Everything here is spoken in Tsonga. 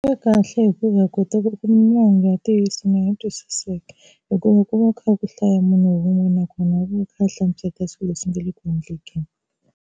Yi kahle hikuva hi kota ku kuma mahungu ya ntiyiso ni yo twisiseka hikuva ku va ku kha ku hlaya munhu wun'we nakona u va kha a hlamusela swilo leswi nga le ku endlekeni.